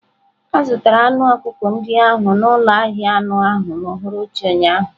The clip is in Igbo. A zụtara anụ ọkụkọ ndị ahụ n'ụlọ ahịa anụ ahụ n'uhuruchi ụnyaahụ.